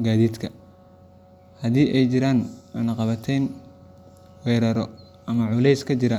gaadiidka. Haddii ay jiraan cunaqabatayn, weerarro ama culeysyo ka jira